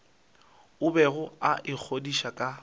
a bego a ikgodiša ka